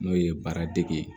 N'o ye baaradege ye